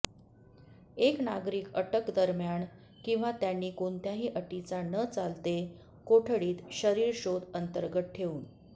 एक नागरिक अटक दरम्यान किंवा त्यांनी कोणत्याही अटीचा न चालते कोठडीत शरीर शोध अंतर्गत ठेवून